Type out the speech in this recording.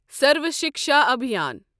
Sarva Shiksha Abhiyan